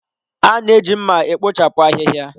A na-eji mma e kpochapụ ahịhịa.